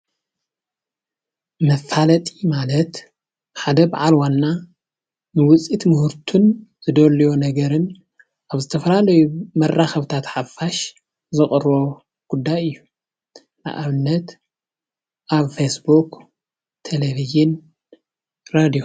መፋለጢ ማለት ሓደ በዓል ዋና ንውፅኢት ምህርቱን ዝደልዮ ነገርን ኣብ ዝተፋላለዩ መራከብታት ሓፋሽ ዘቅርቦ ጉዳይ እዩ፡፡ ንኣብነት ኣብ ፌስቡክ፣ ቴለቪዥን፣ ሬድዮ፡፡